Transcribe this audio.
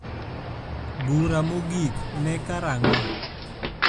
bura mogik ne karango